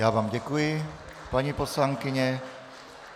Já vám děkuji, paní poslankyně.